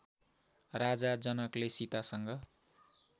राजा जनकले सीतासँग